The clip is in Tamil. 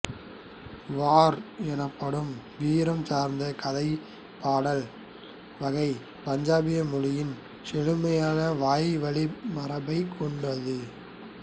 வார் எனப்படும் வீரம் சார்ந்த கதைப்பாடல் வகை பஞ்சாபி மொழியில் செழுமையான வாய்வழி மரபைக் கொண்டுள்ளது